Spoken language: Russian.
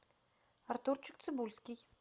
артурчик цибульский